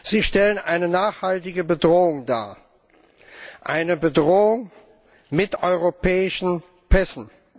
Sie stellen eine nachhaltige Bedrohung dar, eine Bedrohung mit europäischen Pässen.